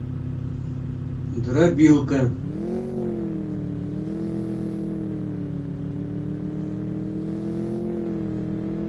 дробилка